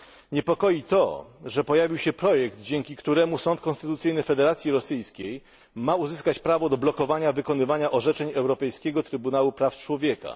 Niepokoi to, że pojawił się projekt, dzięki któremu sąd konstytucyjny Federacji Rosyjskiej ma uzyskać prawo do blokowania wykonywania orzeczeń Europejskiego Trybunału Praw Człowieka.